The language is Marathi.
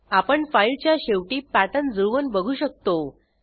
आपण फाईलच्या शेवटी पॅटर्न जुळवून बघू शकतो